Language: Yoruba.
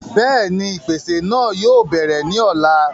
bẹ́ẹ̀ni, ìpèsè náà yóò bẹ̀rẹ̀ ní ọ̀la